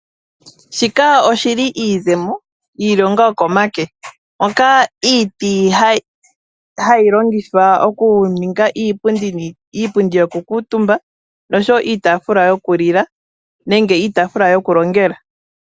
Shika oshili iizemo yiilonga yokomake. Mpoka iiti hayi longithwa oku ninga iipundi yoku kuutumba nosho wo iitaafula yoku lila, nenge iitaafula yoku longela.